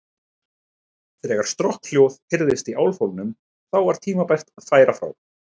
Þegar strokkhljóð heyrðist í álfhólnum, þá var tímabært að færa frá.